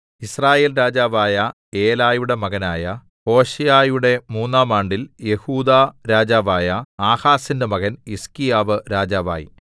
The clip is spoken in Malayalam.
യിസ്രായേൽ രാജാവായ ഏലയുടെ മകനായ ഹോശേയയുടെ മൂന്നാം ആണ്ടിൽ യെഹൂദാ രാജാവായ ആഹാസിന്റെ മകൻ ഹിസ്ക്കീയാവ് രാജാവായി